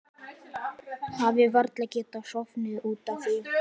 Hafi varla getað sofið út af því.